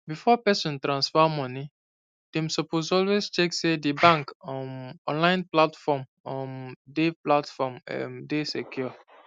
before person transfer money dem suppose always check say di bank um online platform um dey platform um dey secure